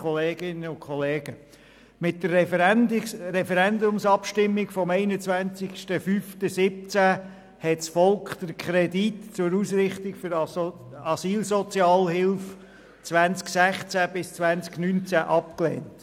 Mit der Referendumsabstimmung vom 21.05.2017 hat das Volk den Kredit zur Ausrichtung der Asylsozialhilfe 2016–2019 abgelehnt.